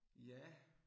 Ja